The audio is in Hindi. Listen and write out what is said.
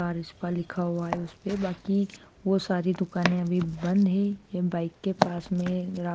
स्पा लिखा हुआ है उस पे बाकी वो सारी दुकानें अभी बंद है ये बाइक के पास में ला--